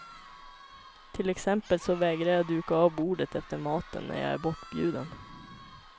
Till exempel så vägrar jag duka av bordet efter maten när jag är bortbjuden.